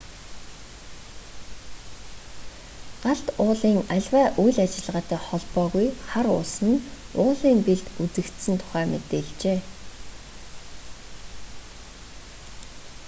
галт уулын аливаа үйл ажиллагаатай холбоогүй хар уулс нь уулын бэлд үзэгдсэн тухай мэдээлжээ